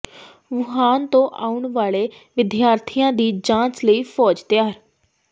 Wuhan ਤੋਂ ਆਉਣ ਵਾਲੇ ਵਿਦਿਆਰਥੀਆਂ ਦੀ ਜਾਂਚ ਲਈ ਫੌਜ ਤਿਆਰ